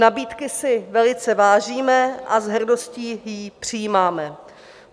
Nabídky si velice vážíme a s hrdostí ji přijímáme.